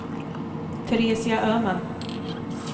Teresia Öhman